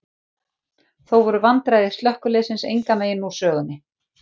Þó voru vandræði slökkviliðsins engan veginn úr sögunni.